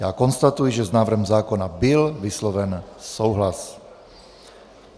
Já konstatuji, že s návrhem zákona byl vysloven souhlas.